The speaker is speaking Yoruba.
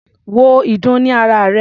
Wo ìdun ní ara rè.